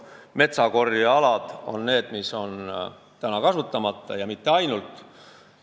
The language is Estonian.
Meil on praegu kasutamata metsakorjealad, aga mitte ainult.